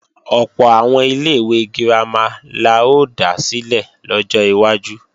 Ọ̀pọ̀ àwọn ilé-ìwé girama la ó dá sílẹ̀ lọ́jọ́ iwájú